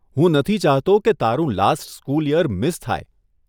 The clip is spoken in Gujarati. હું નથી ચાહતો કે તારું લાસ્ટ સ્કૂલ યર મિસ થાય.